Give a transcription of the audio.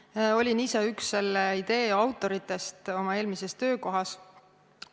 Ma olin ise üks selle idee autoritest oma eelmises töökohas.